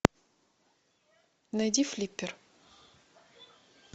найди флиппер